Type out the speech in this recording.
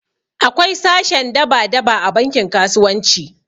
Akwai sashen daba daba a bankin kasuwanci